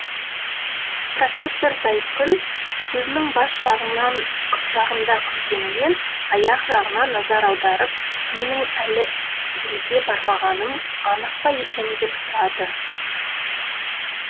профессор зайкүл сөзінің бас жағында күлгенімен аяқ жағына назар аударып менің әлі елге бармағаным анық па екен деп сұрады